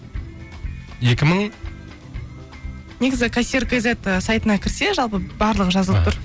екі мың негізі кассир кейзет ы сайтына кірсе жалпы барлығы жазылып тұр